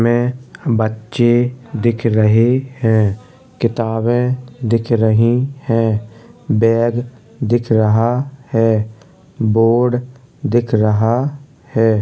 इसमें बच्चे दिख रहे है किताबें दिख रही हैं बैग दिख रहा है बोर्ड दिख रहा है।